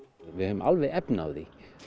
við höfum alveg efni á því